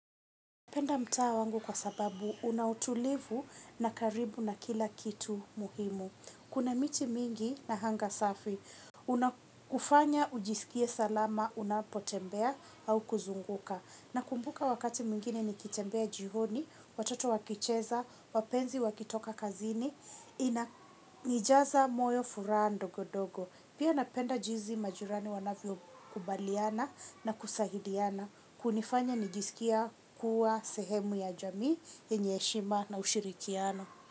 Penda mtaa wangu kwa sababu una utulivu na karibu na kila kitu muhimu. Kuna miti mingi na hanga safi. Unakufanya ujisikie salama, unapotembea au kuzunguka. Nakumbuka wakati mwingine nikitembea jihoni, watoto wakicheza, wapenzi wakitoka kazini, inanijasa moyo furaha ndogodogo. Pia napenda jizi majirani wanavyokubaliana na kusahidiana. Kunifanya nijisikia kuwa sehemu ya jamii yenye heshima na ushirikiano.